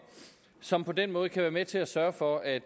som på den måde kan være med til at sørge for at